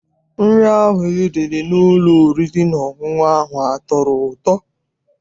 Nri ahụ I riri n'ụlọ oriri na ọṅụṅụ ahụ a tọrọ ụtọ?